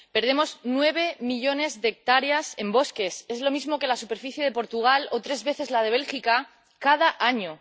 Perdemos nueve millones de hectáreas en bosques —es lo mismo que la superficie de Portugal o tres veces la de Bélgica— cada año.